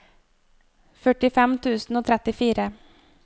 førtifem tusen og trettifire